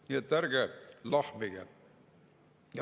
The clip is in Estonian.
Nii et ärge lahmige.